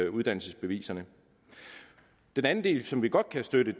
uddannelsesbeviserne den anden del som vi godt kan støtte